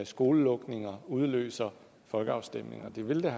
skolelukninger udløse folkeafstemninger det ville da